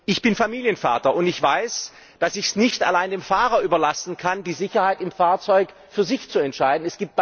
Ich bin Familienvater und weiß, dass ich es nicht allein dem Fahrer überlassen kann, die Sicherheit im Fahrzeug für sich zu entscheiden.